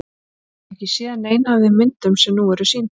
Ég hef ekki séð neina af þeim myndum sem nú eru sýndar.